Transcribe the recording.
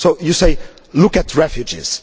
You say look at refugees'.